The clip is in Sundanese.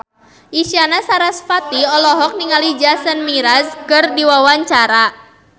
Isyana Sarasvati olohok ningali Jason Mraz keur diwawancara